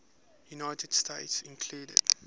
united states include